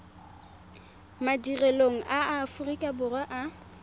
madirelong a aforika borwa a